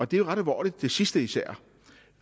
det er ret alvorligt det sidste især